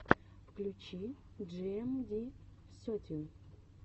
включи джиэмди сетин